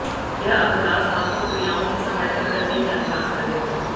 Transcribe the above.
यह अभ्यास आपको क्रियाओं की सहायता करने में अभ्यास करेगा